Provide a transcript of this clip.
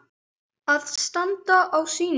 Að standa á sínu